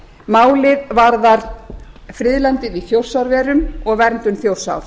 á málið varðar friðlandið í þjórsárverum og verndun þjórsár